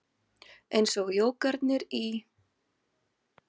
Eins og jógarnir í